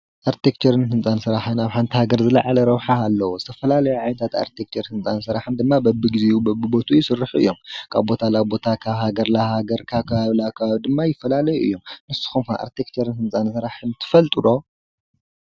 ኣርቴክቸርን ህንፃን ስራሕ ኣብ ሓንቲ ሃገር ዝለዓለ ረብሓ ኣለዎ። ዝተፈላለየ ዓይነት ኣርቴክቸር ህንፃን ስራሕን ድማ በቢ ግዚኡ በቢቦትኡ ይስርሑ እዮም። ካብ ቦታ ናብ ቦታ፣ ካብ ሃገር ናብ ሃገር ፣ካብ ከባቢናብ ከባቢ ድማ ይፈላለዩ እዮም። ንስኩም ከ ኣርቴክቸር ህንፃ ስራሕን ትፈልጡ ዶ?